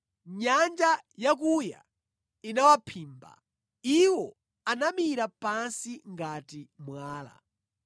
Nyanja yakuya inawaphimba; Iwo anamira pansi ngati mwala.”